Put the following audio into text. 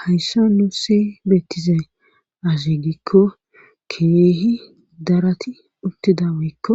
hayssa nusi beettizay azigikko keehi darati uttida woykko